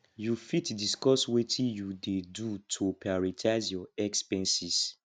you fit discuss wetin you dey do to prioritize your expenses